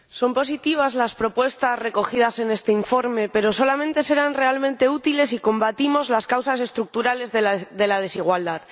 Señor Presidente, son positivas las propuestas recogidas en este informe, pero solamente serán realmente útiles si combatimos las causas estructurales de la desigualdad.